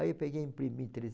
Aí eu peguei e imprimi